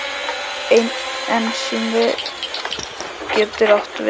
Ensími getur átt við